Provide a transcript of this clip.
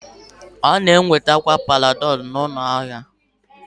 A na-enwetakarị Panadolu n'ụlọ ahịa